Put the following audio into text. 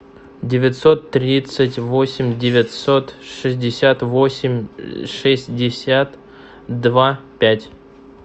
девятьсот тридцать восемь девятьсот шестьдесят восемь шестьдесят два пять